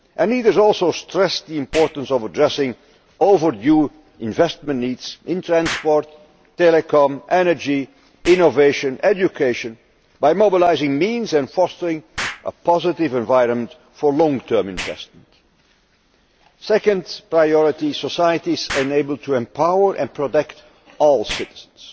and leaders also stressed the importance of addressing overdue investment needs in transport, telecoms, energy, innovation, education by mobilising means and fostering a positive environment for long term investments. Second priority societies that are able to empower and protect all citizens.